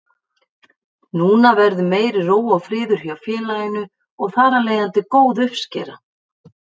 Núna verður meiri ró og friður hjá félaginu og þar af leiðandi góð uppskera.